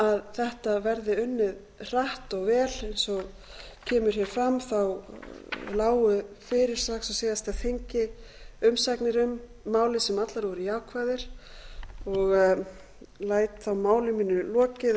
að þetta verði unnið hratt og vel eins og kemur hér fram lágu fyrir strax á síðasta þingi umsagnir um málið sem allar voru jákvæðar ég læt þá máli mínu lokið